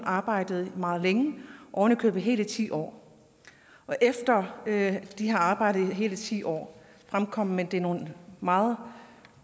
arbejdede meget længe ovenikøbet i hele ti år og efter at de havde arbejdet i hele ti år fremkom de med nogle meget